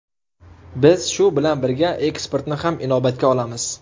Biz shu bilan birga eksportni ham inobatga olamiz.